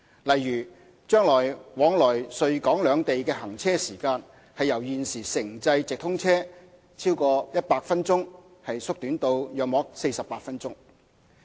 例如，將來往來穗港兩地的行車時間由現時城際直通車逾100分鐘縮短至約48分鐘。